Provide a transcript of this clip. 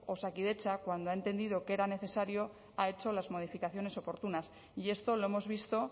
osakidetza cuando ha entendido que era necesario ha hecho las modificaciones oportunas y esto lo hemos visto